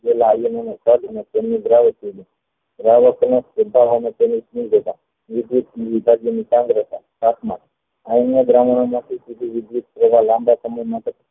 iron ના દ્રાવણો માંથી લાંબા સમય માટે